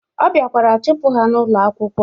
Ọ biakwara chụpụ ha n'ụlọ akwụkwọ.